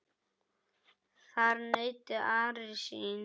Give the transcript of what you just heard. Þar naut Ari sín.